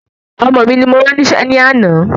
Ọmọ mi ni mo rán nísé ní àná